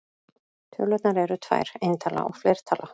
Tölur eru tvær: eintala og fleirtala.